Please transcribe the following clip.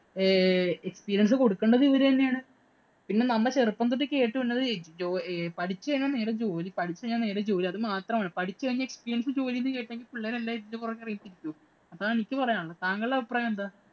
Experience കൊടുക്കണ്ടത് ഇവര് തന്നെയാണ്. പിന്നെ നമ്മ ചെറുപ്പം തൊട്ട് കേട്ടു വരുന്നത് പഠിച്ചു കഴിഞ്ഞാല്‍ നേരെ ജോലി. പഠിച്ചു കഴിഞ്ഞാല്‍ നേരെ ജോലി. അതുമാത്രമാണ് പഠിച്ചു കഴിഞ്ഞാല്‍ experience ജോലി എന്ന് പറഞ്ഞുകഴിഞ്ഞാല്‍ പിള്ളേരെല്ലാം ഇതിന്‍റെ പുറകെ അതാണ്‌ എനിക്ക് പറയാന്‍ ഉള്ളത്. താങ്കളുടെ അഭിപ്രായം എന്താ?